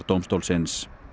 dómstólsins